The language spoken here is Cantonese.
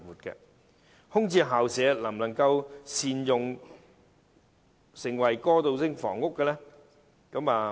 至於空置校舍能否加以善用，成為過渡性房屋呢？